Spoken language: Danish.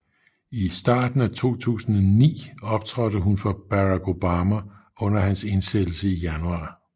I starten af 2009 optrådte hun for Barack Obama under hans indsættelse i januar